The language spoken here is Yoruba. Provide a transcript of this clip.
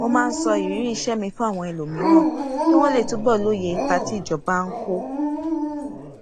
mo máa ń sọ ìrírí iṣẹ mi fún àwọn ẹlòmíràn kí wọn lè túbọ lóye ipa tí ìjọba ń kó